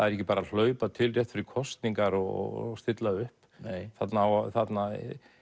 er ekki bara að hlaupa til rétt fyrir kosningar og stilla upp þarna á þarna